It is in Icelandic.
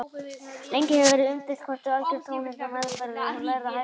Lengi hefur verið umdeilt hvort algjör tónheyrn er meðfæddur eða lærður hæfileiki.